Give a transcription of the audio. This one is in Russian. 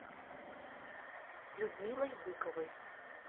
людмилой быковой